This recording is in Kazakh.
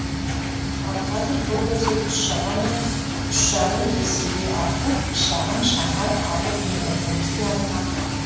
ал қазір бұл көрсеткіш шамамен үш жарым есеге артып шағын шаһар алып мегаполиске айналды